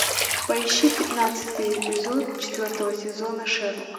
поищи пятнадцатый эпизод четвертого сезона шерлок